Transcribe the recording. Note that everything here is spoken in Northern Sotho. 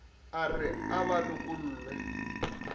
a re a ba lokolle